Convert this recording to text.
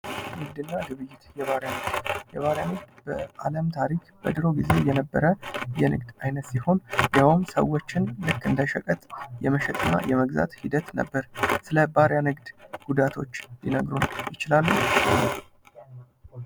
ንግድ እና ግብይት፤ የባርያ ንግድ፤ የባርያ ንግድ በአለም ታሪክ በድሮ ጊዜ የነበረ የንግድ አይነት ሲሆን ይሀውም ሰዎችን ልክ እንደ ሸቀጥ የመሸጥ እና የመግዛት ሂደት ነበር። ስለባርያ ንድ ጉዳቶች ሊነግሩን ይችላሉ?